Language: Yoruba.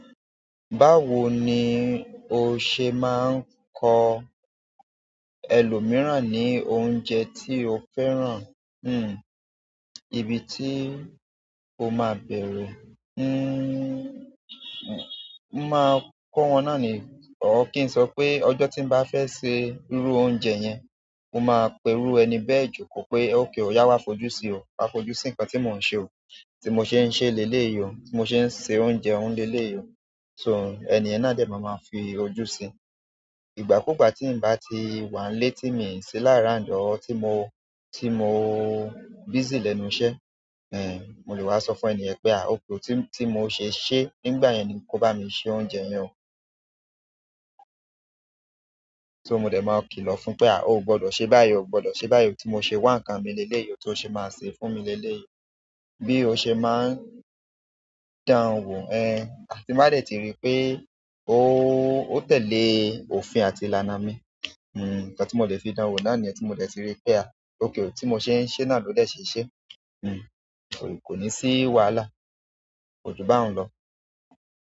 Báwo ni o ṣe máa ń kọ ẹlòmíràn ní oúnjẹ tí o fẹ́ràn? Hmm ibi tí o máa bẹ̀rẹ̀, hmm máa kọ́ wọn náà ni, o kí n sọ pé ọjọ́ tí n bá fẹ́ sẹ irú oúnjẹ yẹn, mo máa n pe iru ẹni bẹ́ẹ̀ joko pe okay oya wa fo ju si o wa fi ojú sikan ti mo n se ti mo se leleyi o ti mo se se oúnjẹ u leleyi o. So, ènìyàn náà dè máa ma fi ojú sí i. Ìgbà kúùgbà tí n bá ti wà lé tí mi sì lára and ọ́, tí mo, tí mo busy lẹ́nu iṣẹ́, ehn mo lè wá sọ fún ènìyàn pé à ókè tí mo ṣe ṣe nígbà yẹn ni kó bá mi ṣe oúnjẹ yẹn. So mo dè máa kìlọ̀ fún pé à o gbọdọ̀ ṣe báyìí, o gbọdọ̀ ṣe báyìí, oh tí mo ṣe wà nǹkan mi lé lé ìyò tó ṣe máa ṣe fún mi lé lé ìyò. Bí o ṣe máa ń dánan wò, ehn àti mádẹ̀ tí rí pé o ó tẹ̀lé òfin àti ìlànà mi, hmm nǹkan tí mo lè fi dánan wò láàrin ènìyàn tí mo lè ti rí pé à ókè tí mo ṣe ń ṣe náà ló lè ṣe ṣe. Hmm kò ní sí wàhálà, kojú báa n lọ.